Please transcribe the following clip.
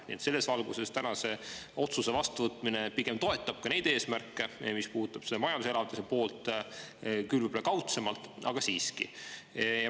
Nii et selles valguses tänase otsuse vastuvõtmine pigem toetab neid eesmärke, mis puutub majanduse elavdamise poolt, küll kaudsemalt, aga siiski.